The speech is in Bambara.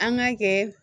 An k'a kɛ